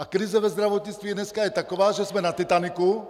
A krize ve zdravotnictví dnes je taková, že jsme na Titaniku -